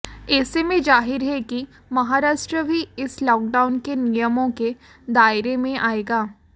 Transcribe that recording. ऐसे में जाहिर है कि महाराष्ट्र भी इस लॉकडाउन के नियमों के दायरे में आएगा